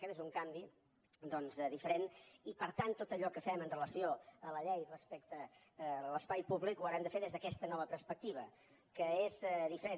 aquest és un canvi doncs diferent i per tant tot allò que fem amb relació a la llei respecte a l’espai públic ho haurem de fer des d’aquesta nova perspectiva que és diferent